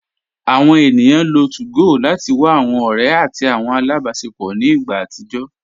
Awọn ènìyàn lọ́ 2gò láti wà awọn ọ̀rẹ̀ àti awọn alábásẹpọ̀ ní ìgbà àtìjọ